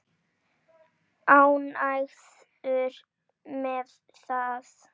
Ánægður með það?